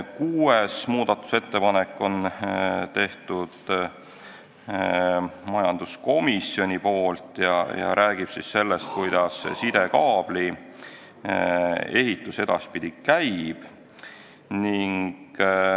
Kuuenda muudatusettepaneku on teinud majanduskomisjon ja see räägib sellest, kuidas sidekaabli ehitus edaspidi käib.